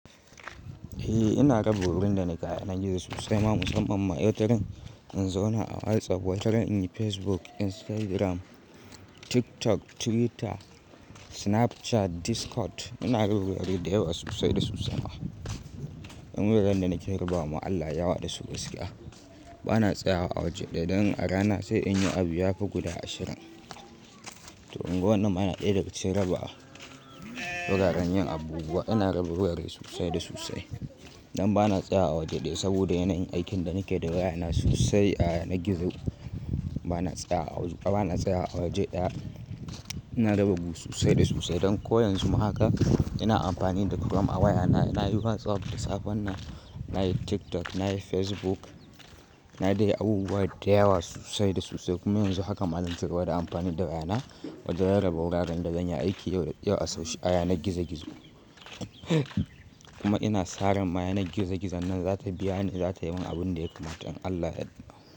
Eh ina raba gurin da nake a yanan gizo sosai ma musamman ma wataran in zauna a WhatsApp, wataran in yi Facebook, Instagram, TikTok, Twitter, Snapchat, Discord. Ina raba wuri da yawa sosai da sosai. Dan wuraren da nake rabuwa mu Allah yayi yawa da su gaskiya. Bana tsayawa a waje ɗaya don a rana sai in yi abu ya fi guda ashirin. Tu unguwannan ma yana ɗaya daga cikin raba wuraren yin abubuwa. Ina raba wurare sosai da sosai don bana tsayawa waje ɗaya saboda yanayin aikin da nake da waya na sosai a yanar gizo. Bana tsayawa a waje ɗaya. Ina raba gu sosai da sosai don ko yanzu ma haka ina amfani da chrome a wayana. Na yi WhatsApp da safen nan, na yi TikTok, na yi Facebook. Na yi dai yi abubuwa da yawa sosai da sosai kuma yanzu haka ma zan cigaba da amfani da wayana wajen rarraba wuraren da zanyi aiki a yanar gizo gizo. Kuma ina sa ran ma yanar gizo gizo nan za ta biya ni, za ta yi min abun da ya kamata. In Allah ya yadda.